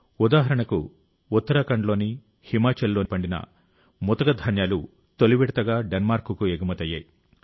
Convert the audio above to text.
ఉదాహరణకు ఉత్తరాఖండ్లోని హిమాచల్లో పండిన చిరుధాన్యాలు తొలి విడతగా డెన్మార్క్కు ఎగుమతయ్యాయి